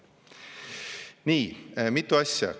Nii, mitu asja.